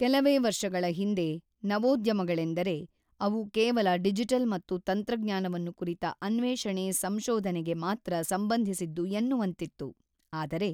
ಕೆಲವೇ ವರ್ಷಗಳ ಹಿಂದೆ ನವೋದ್ಯಮಗಳೆಂದರೆ, ಅವು ಕೇವಲ ಡಿಜಿಟಲ್ ಮತ್ತು ತಂತ್ರಜ್ಞಾನವನ್ನು ಕುರಿತ ಅನ್ವೇಷಣೆ ಸಂಶೋಧನೆಗೆ ಮಾತ್ರ ಸಂಬಂಧಿಸಿದ್ದು ಎನ್ನುವಂತಿತ್ತು ಆದರೆ,